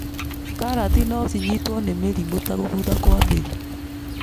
Karati niocinyitwo nĩmĩrimũ ta gũbutha kwa mĩri.